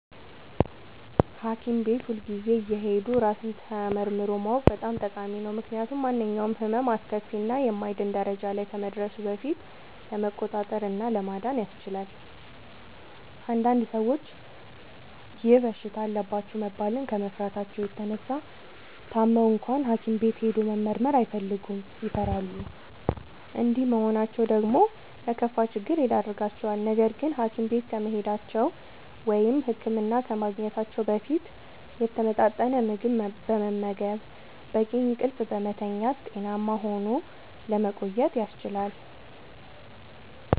ሀኪም ቤት ሁልጊዜ እየሄዱ ራስን ተመርምሮ ማወቅ በጣም ጠቃሚ ነው። ምክንያቱም ማንኛውም ህመም አስከፊ እና የማይድን ደረጃ ላይ ከመድረሱ በፊት ለመቆጣጠር እና ለመዳን ያስችላል። አንዳንድ ሰዎች ይህ በሽታ አለባችሁ መባልን ከመፍራታቸው የተነሳ ታመው እንኳን ሀኪም ቤት ሄዶ መመርመር አይፈልጉም ይፈራሉ። እንዲህ መሆናቸው ደግሞ ለከፋ ችግር ይዳርጋቸዋል። ነገርግን ሀኪም ቤት ከመሄዳቸው(ህክምና ከማግኘታቸው) በፊት የተመጣጠነ ምግብ በመመገብ፣ በቂ እንቅልፍ በመተኛት ጤናማ ሆኖ ለመቆየት ያስችላል።